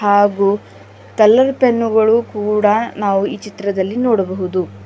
ಹಾಗೂ colour pen ಗಳು ಕೂಡ ನಾವು ಈ ಚಿತ್ರದಲ್ಲಿ ನೋಡಬಹುದು.